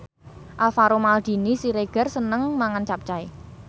Alvaro Maldini Siregar seneng mangan capcay